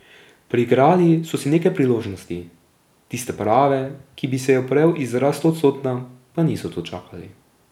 Priigrali so si nekaj priložnosti, tiste prave, ki bi se je oprijel izraz stoodstotna, pa niso dočakali.